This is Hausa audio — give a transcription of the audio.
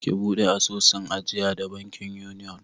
Ki buɗe asusun ajiya da bankin Union!